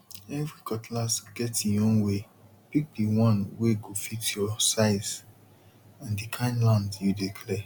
every cutlass get e own waypick the one wey go fit your size and the kind land you dey clear